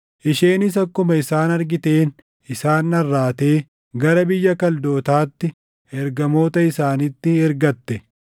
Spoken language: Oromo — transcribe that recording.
Isheenis akkuma isaan argiteen isaan dharraatee gara biyya Kaldootaatti ergamoota isaanitti ergatte.